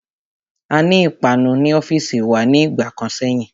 Aní ìpanu ní ọ́fìsì wa ní ìgbà kan sẹ́yìn.